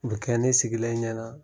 O bɛ kɛ ne sigilen ɲɛna